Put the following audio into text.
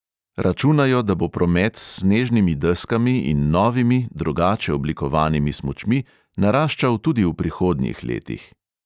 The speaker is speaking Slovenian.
Računajo, da bo promet s snežnimi deskami in novimi, drugače oblikovanimi smučmi, naraščal tudi v prihodnjih letih.